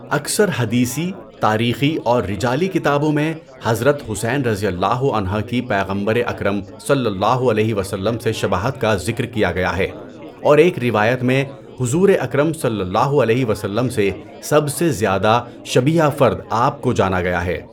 اکثر حدیثی، تاریخی اور رجالی کتابوں میں حضرت حسین رضی اللہ عنہ کی پیغمبر اکرم صلی اللہ علیہ وسلم سے شباہت کا ذکر کیا گیا ہےاور ایک روایت میں حضور اکرم صلی اللہ ولیہ وسلم سے سب سے زیادہ شبیہ فرد آپ کو جانا گیا ہے۔